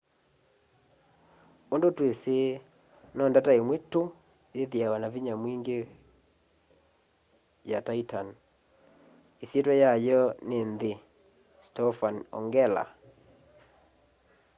undu twisi no ndata imwe tu yithiawa na vinya mwingi kwi wa titan isyitya yayo ni nthi stofan ongela